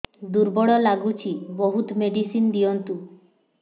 ଦୁର୍ବଳ ଲାଗୁଚି ବହୁତ ମେଡିସିନ ଦିଅନ୍ତୁ